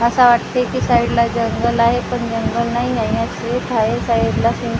असं वाटतंय की साईडला जंगल आहे पण जंगल नाहीए हे शेत हाये साईडला शे--